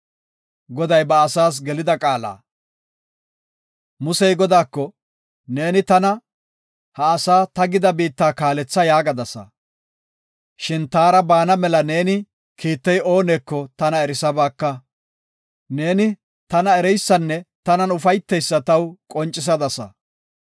Musey Godaako, “Neeni tana, ha asaa ta gida biitta kaaletha yaagadasa. Shin taara baana mela neeni kiittey ooneko, tana erisabaaka. Neeni, tana ereysanne tanan ufayteysa taw qoncisadasa.